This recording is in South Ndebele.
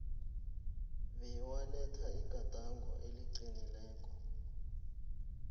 bewaletha igadango eliqinileko